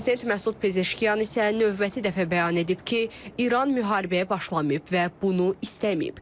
Prezident Məsud Pezeşkiyan isə növbəti dəfə bəyan edib ki, İran müharibəyə başlamayıb və bunu istəməyib.